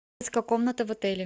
комната в отеле